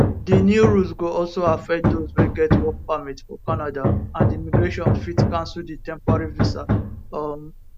di new rules go also affect dose wey get work permit for canada and immigration fit cancel di temporary visa um